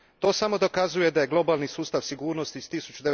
To samo dokazuje da je globalni sustav sigurnosti iz